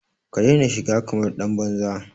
Ka daina shiga kamar ɗan banza!